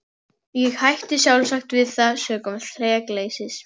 Ég hætti sjálfsagt við það sökum þrekleysis.